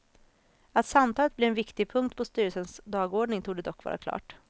Att samtalet blir en viktig punkt på styrelsens dagordning torde dock vara klart.